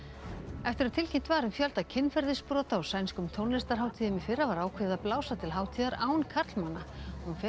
eftir að tilkynnt var um fjölda kynferðisbrota á sænskum tónlistarhátíðum í fyrra var ákveðið að blása til hátíðar án karlmanna hún fer